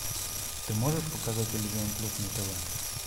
ты можешь показать иллюзион плюс на тв